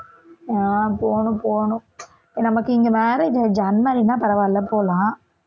ஆஹ் போகணும் போகணும் நமக்கு இங்க marriage ஆகியிருச்சு unmarried னா பரவாயில்லை போலாம்